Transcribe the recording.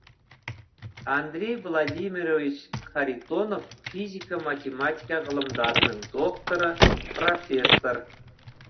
андрей владимирович харитонов физика математика ғылымдарының докторы профессор